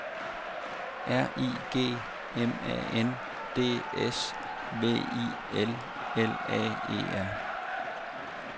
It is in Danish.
R I G M A N D S V I L L A E R